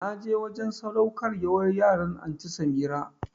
Na je wajen sadaukarwar yaran Anty Samirah